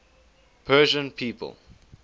persian people